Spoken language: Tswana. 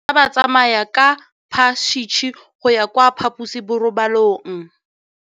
Bana ba tsamaya ka phašitshe go ya kwa phaposiborobalong.